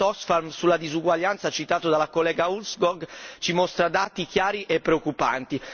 Il rapporto Oxfam sulla disuguaglianza citato dalla collega Ulvskog ci mostra dati chiari e preoccupanti.